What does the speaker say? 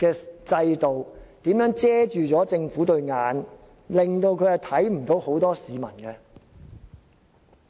制度如何蒙蔽政府雙眼，令他們看不見很多市民。